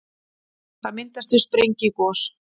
það myndast við sprengigos